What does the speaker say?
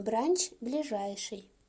бранч ближайший